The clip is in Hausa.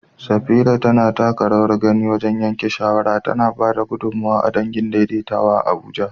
Safira tana taka rawar gani wajen yanke shawara, tana ba da gudummawa ga dangin daidaitawa a Abuja